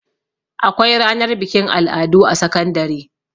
Akwai ranar bikin al'adu a sakandare.